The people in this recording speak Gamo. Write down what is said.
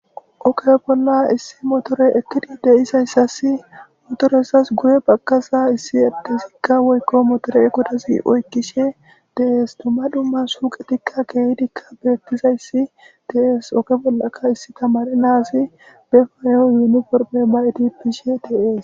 Oke bolla issi motore ekkidi deisayssas motoreyssas guye bagkaza issi erdesikka woykko motore eqodasi oykkishe dees tuma dumma suuqetikka keehdikka beettizayssi deees ooke bollaka issi tamari naasi be fayo yuuniforme mayeti pishe dees